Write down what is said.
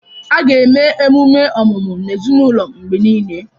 A ga na eme ememe ọmụmụ n'ezinụlọ mgbe niile.